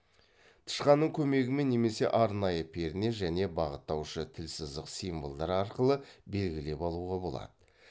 тышқанның көмегімен немесе арнайы перне және бағыттаушы тілсызық символдар арқылы белгілеп алуға болады